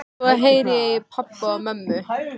Svo heyri ég í pabba og mömmu.